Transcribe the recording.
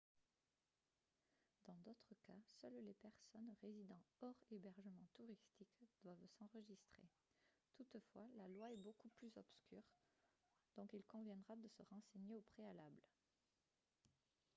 dans d'autres cas seules les personnes résidant hors hébergements touristiques doivent s'enregistrer toutefois la loi est beaucoup plus obscure donc il conviendra de se renseigner au préalable